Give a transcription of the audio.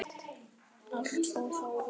Allt fór þó vel.